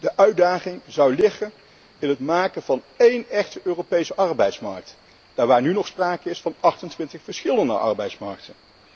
De uitdaging zou liggen in het maken van één echte Europese arbeidsmarkt daar waar nu nog sprake is van 28 verschillende arbeidsmarkten.